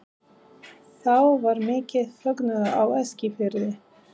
Þá varð mikill fögnuður á Eskifirði.